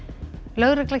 lögregla